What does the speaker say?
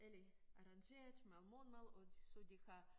Eller arrangeret med morgenmad og så de har